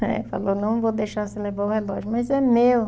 Aí falou, não vou deixar você levar o relógio, mas é meu.